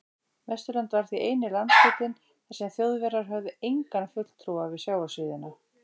Vesturland var því eini landshlutinn, þar sem Þjóðverjar höfðu engan fulltrúa við sjávarsíðuna.